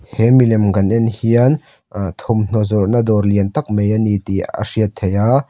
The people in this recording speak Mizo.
he milem kan en hian ahh thawmhnaw zawrhna dawr lian tak mai a ni tih a hriat theih a.